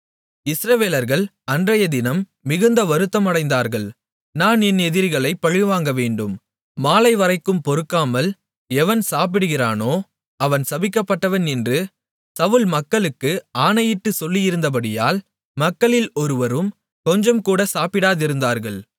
இஸ்ரவேலர்கள் அன்றையதினம் மிகுந்த வருத்தம் அடைந்தார்கள் நான் என் எதிரிகளை பழிவாங்கவேண்டும் மாலைவரைக்கும் பொறுக்காமல் எவன் சாப்பிடுகிறானோ அவன் சபிக்கப்பட்டவன் என்று சவுல் மக்களுக்கு ஆணையிட்டுச் சொல்லியிருந்தபடியால் மக்களில் ஒருவரும் கொஞ்சம்கூட சாப்பிடாதிருந்தார்கள்